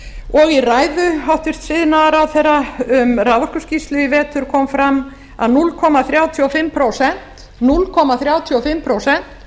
og í ræðu hæstvirts iðnaðarráðherra um raforkuskýrslu í vetur kom fram að núll komma þrjátíu og fimm prósent